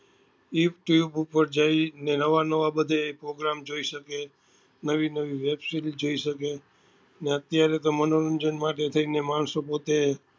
You tube ઉપર જોઈ ને નવા નવા બધે program જોઈ શકે નવી નવી web series જોઈ સકે ને અત્યારે તો મનોરંજન માટે થઈ ને માણસો પોત્તે